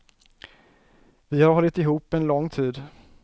Vi har hållit ihop en lång tid.